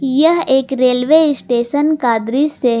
यह एक railway station का दृश्य है।